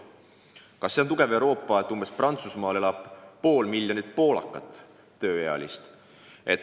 Kas see näitab Euroopa tugevust, kui Prantsusmaal elab pool miljonit tööealist poolakat?